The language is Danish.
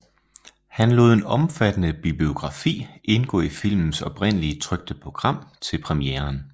Han lod en omfattende bibliografi indgå i filmens oprindelige trykte program til premieren